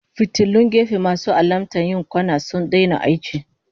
Fitilun gefe masu alamta yin kwana sun daina aiki